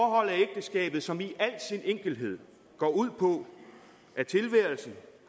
et af som i al sin enkelhed går ud på at tilværelsen